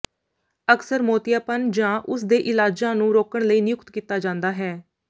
ਅਕਸਰ ਮੋਤੀਆਪਨ ਜਾਂ ਉਸ ਦੇ ਇਲਾਜਾਂ ਨੂੰ ਰੋਕਣ ਲਈ ਨਿਯੁਕਤ ਕੀਤਾ ਜਾਂਦਾ ਹੈ